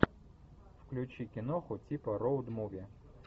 включи киноху типа роуд муви